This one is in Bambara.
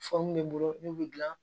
bɛ bolo n'u bɛ gilan